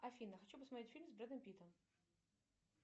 афина хочу посмотреть фильм с брэдом питтом